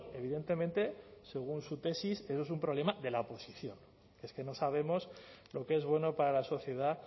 evidentemente según su tesis esto es un problema de la oposición que es que no sabemos lo que es bueno para la sociedad